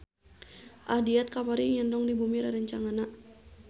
Ahdiat kamari ngendong di bumi rerencanganna